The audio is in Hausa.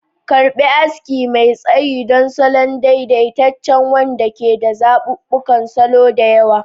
Karɓi aski mai tsayi don salon daidaitacce wanda ke da zaɓuɓɓukan salo da yawa.